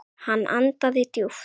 Hann andaði djúpt.